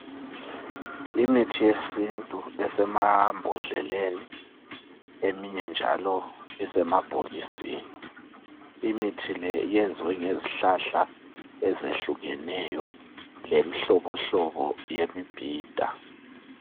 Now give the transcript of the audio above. Imithi yesintu esemambodleleni eminye njalo isemabhokisini, imithi le iyenziwe ngezihlahla ezehlukeneyo lenhlobohlobo yemibhida